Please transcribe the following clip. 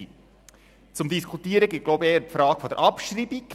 Zu diskutieren gibt eher die Frage der Abschreibung.